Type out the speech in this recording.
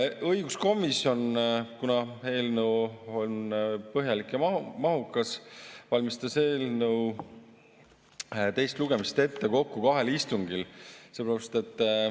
Õiguskomisjon, kuna eelnõu on põhjalik ja mahukas, valmistas eelnõu teist lugemist ette kokku kahel istungil.